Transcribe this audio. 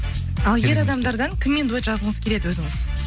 ал ер адамдардан кіммен дуэт жазғыңыз келеді өзіңіз